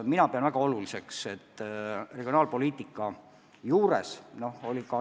Mina pean seda tegevust regionaalpoliitika seisukohalt väga oluliseks.